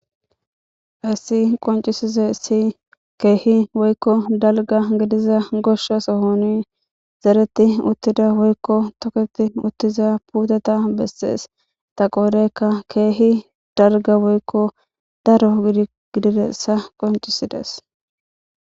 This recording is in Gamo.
haysi Qoncisizay Kehi Woyko Dalga Gidiza Gosha Soho dereti utiya Woyko toKeti Utiza puteya beses .Ta qodayka Kehi dalga Woyko daro Gidiza Qonccisides